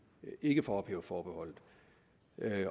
ikke får ophævet forbeholdet